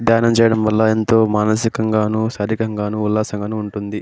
ధ్యానం చేయడం వల్ల ఎంతో మానసికంగానూ శరీరంకంగాను ఉల్లాసంగాను ఉంటుంది.